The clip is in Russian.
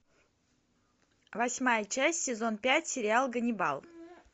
восьмая часть сезон пять сериал ганнибал